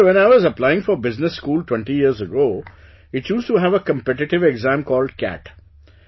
Sir, when I was applying for business school twenty years ago, it used to have a competitive exam called CAT